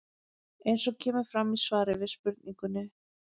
Eins og kemur fram í svari við spurningunni